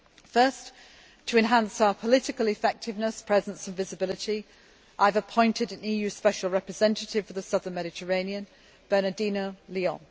First, to enhance our effectiveness, presence and visibility, I have appointed an EU Special Representative for the Southern Mediterranean Bernardino León.